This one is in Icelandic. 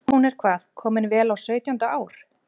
Hún er hvað. komin vel á sautjánda ár?